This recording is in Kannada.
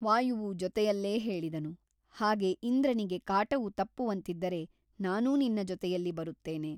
ವಾಯುವು ಜೊತೆಯಲ್ಲೇ ಹೇಳಿದನು ಹಾಗೆ ಇಂದ್ರನಿಗೆ ಕಾಟವು ತಪ್ಪುವಂತಿದ್ದರೆ ನಾನೂ ನಿನ್ನ ಜೊತೆಯಲ್ಲಿ ಬರುತ್ತೇನೆ.